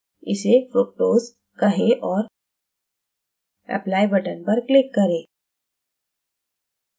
इसे fructose कहें और apply button पर click करें